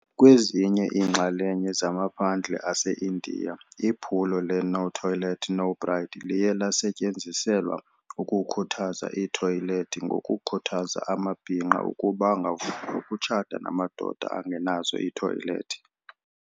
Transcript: Kwezinye iinxalenye zamaphandle aseIndiya iphulo le "No Toilet, No Bride" liye lasetyenziselwa ukukhuthaza iithoyilethi ngokukhuthaza amabhinqa ukuba angavumi ukutshata namadoda angenazo iithoyilethi.